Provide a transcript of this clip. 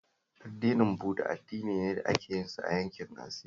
Addinin Buda addini ne da ake yinsa a yankin Asiya